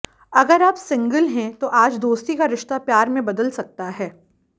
अगर आप सिंगल हैं तो आज दोस्ती का रिश्ता प्यार में बदल सकता है